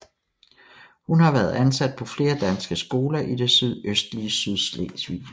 Hun har været ansat på flere danske skoler i det sydøstlige Sydslesvig